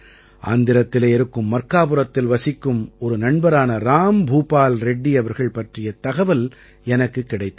ஆந்திரத்திலே இருக்கும் மர்க்காபுரத்தில் வசிக்கும் ஒரு நண்பரான ராம்பூபால் ரெட்டி அவர்கள் பற்றிய தகவல் எனக்குக் கிடைத்தது